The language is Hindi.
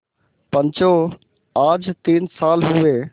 पंचो आज तीन साल हुए